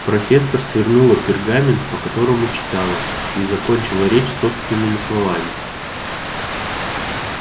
профессор свернула пергамент по которому читала и закончила речь собственными словами